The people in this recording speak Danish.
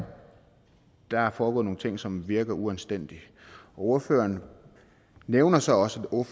der er foregået nogle ting som virker uanstændige og ordføreren nævner så også og